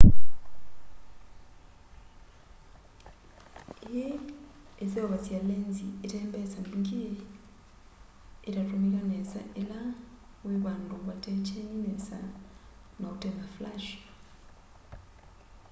ii iseuvasya lenzi itembesa mbingi itatumika nesa ila wi vandu vate kyeni nesa na utena flashi